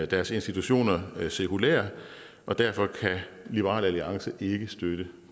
deres institutioner sekulære og derfor kan liberal alliance ikke støtte